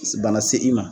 Bana se i ma